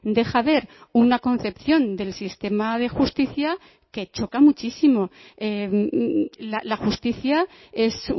deja ver una concepción del sistema de justicia que choca muchísimo la justicia es